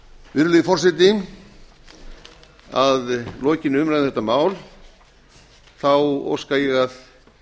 virðulegi forseti að lokinni umræðu um þetta mál óska ég að